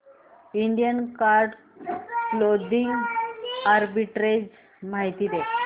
Indian card clothing arbitrage माहिती दे